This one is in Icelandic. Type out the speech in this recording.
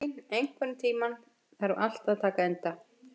Guðlín, einhvern tímann þarf allt að taka enda.